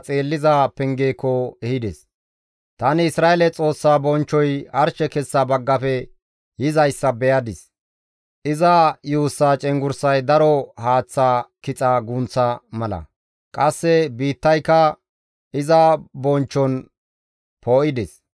Tani Isra7eele Xoossaa bonchchoy arshe kessa baggafe yizayssa beyadis. Iza yuussaa cenggurssay daro kixa haaththa gunththa mala; qasse biittayka iza bonchchon poo7ides.